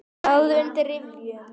Ráð undir rifjum.